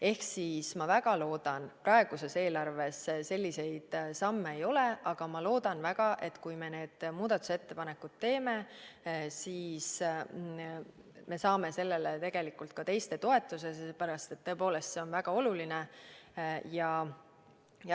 Ehk ma väga loodan – kuigi praeguses eelarves selliseid samme ei ole –, et kui me need muudatusettepanekud teeme, siis me saame sellele ka teiste toetuse, sellepärast et see on tõepoolest väga oluline.